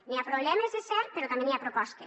hi ha problemes és cert però també hi ha propostes